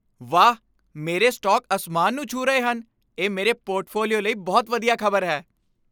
ਵਾਹ, ਮੇਰੇ ਸਟਾਕ ਅਸਮਾਨ ਨੂੰ ਛੂਹ ਰਹੇ ਹਨ! ਇਹ ਮੇਰੇ ਪੋਰਟਫੋਲੀਓ ਲਈ ਬਹੁਤ ਵਧੀਆ ਖ਼ਬਰ ਹੈ।